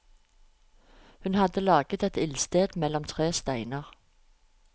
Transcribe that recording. Hun hadde laget et ildsted mellom tre steiner.